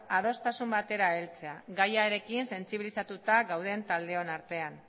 adostasun batera heltzea gaiarekin sentsibilizatuta gauden taldeon artean